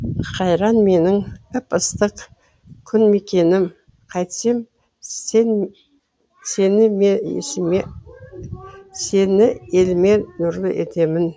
қайран менің ып ыстық күн мекенім қайтсем сені еліме нұрлы етемін